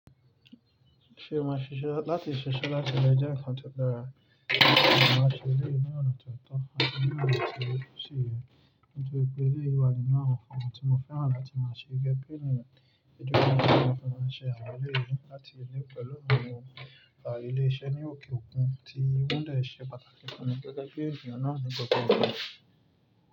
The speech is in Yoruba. Ṣé o mọ̀ sise láti ṣíṣe láti le jẹ́ ǹkan tó dára, mo máa ṣe eleyi ní ona toto ati ni ona tosi ye. Nítorí pé eléyii wà ninu awon nkan tí mo fẹ́ràn láti máa ṣe gẹ́gẹ́ bí ènìyàn. Ìdúróṣinṣin fún ọ̀hùn máa ṣe àwọn ilé yìí láti lè pẹ̀lú àwọn ọ̀rẹ́ mi lárí ilé iṣẹ́ ní òkè òkun tí wọ́n de ṣe pàtàkì fún mi gẹ́gẹ́ bí ènìyàn naà ní gbogbo ìgbà.